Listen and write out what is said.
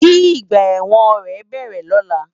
Ki igbà èwòn rè bèrè lòlá